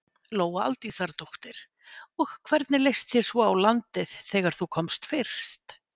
Lóa Aldísardóttir: Og hvernig leist þér svo á landið þegar þú komst fyrst?